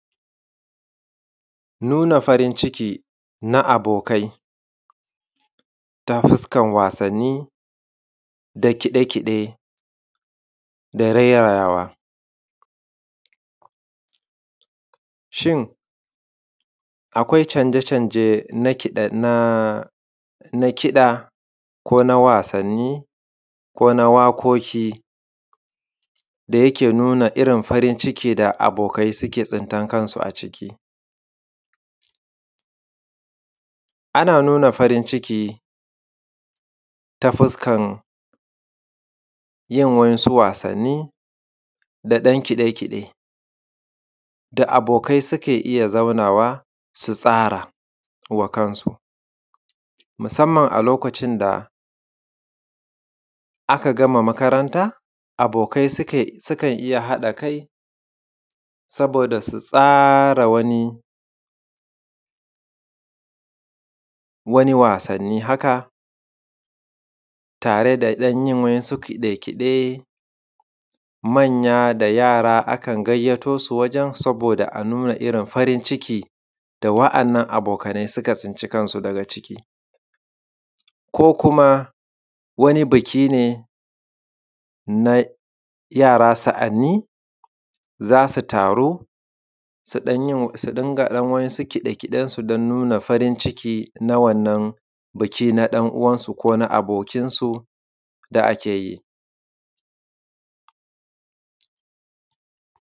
Nuna farin ciki na abokai ta fuskan wasanin da kiɗe kiɗe da rairayawa. Shin akwai canje canje na kiɗa, ko na wasani, ko na waƙoƙi da yake nuna irin farin cikin da abokai suke tsintar kansu a ciki. Ana nuna farin ciki ta fuskar yin wasu wasanin da ɗan kiɗe kiɗe da abokai suke iya zaunawa su tsarawa kansu, musamman a lokacin da aka gama makaranta, abokai sukan iya haɗa kai saboda su tsara wani wasani haka tare da ɗan yin wasu kiɗe kiɗe manya da yara akan gayato su wajan saboda a nuna irin farin ciki da wa'inan abokanai suka tsinci kansu daga ciki. Ko kuma wani biki ne na yara sa'anin za su taru su dinga ɗan wasu kiɗe kiɗensu don nuna farin ciki na wannan bikin na ɗan uwansu, ko na abokai da ake yi.